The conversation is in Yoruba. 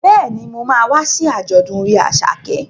Bẹ́ẹ̀ni, mo ma wá sí àjọ̀dún orin Àṣàkẹ́